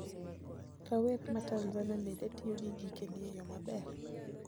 Rawere ma Tanzania bende tiyo gi gikeni e yoo maber?